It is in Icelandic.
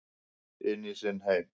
Inn í sinn heim.